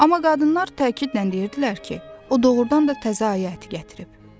Amma qadınlar təkidlə deyirdilər ki, o doğurdan da təzə ayı əti gətirib.